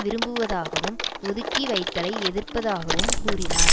விரும்புவதாகவும் ஒதுக்கி வைத்தலை எதிர்ப்பதாகவும் கூறினார்